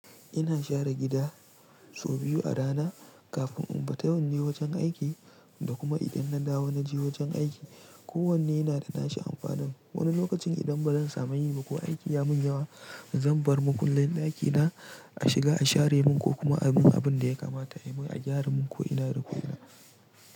Ina share gida sau biyu a rana kafin in bata wanje wajen aiki da kuma idan na dawo na je wajen aiki. Ko wanne yana da nashi amfanin. Wani lokacin idan ba zan samu yin ba ko aiki ya mun yawa, zan bar makullin ɗakina a shiga a share mun ko kuma abun abun da ya kamata a yi mun, a gyara mun ko ina da kula.